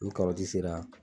Ni karɔti sera